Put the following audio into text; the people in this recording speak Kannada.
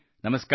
ನಮಸ್ಕಾರ